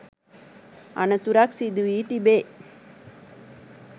අනතුරක් සිදුවී තිබේ.